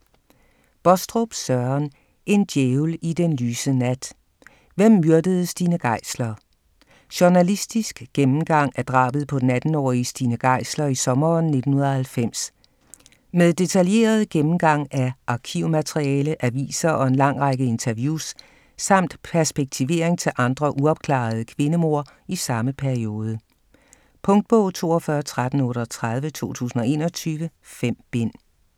Baastrup, Søren: En djævel i den lyse nat: hvem myrdede Stine Geisler? Journalistisk gennemgang af drabet på den 18-årige Stine Geisler i sommeren 1990. Med detaljeret gennemgang af arkivmateriale, aviser og en lang række interviews, samt perspektivering til andre uopklarede kvindemord i samme periode. Punktbog 421338 2021. 5 bind.